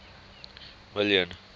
million